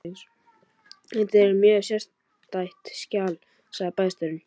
Þetta er mjög sérstætt skjal sagði bæjarstjórinn.